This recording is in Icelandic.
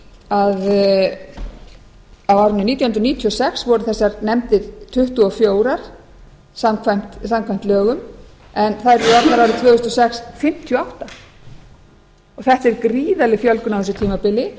á árinu nítján hundruð níutíu og sex voru þessar nefndir tuttugu og fjórir samkvæmt lögum en þær eru orðnar árið tvö þúsund og sex fimmtíu og átta þetta er gríðarleg fjölgun á þessu tímabili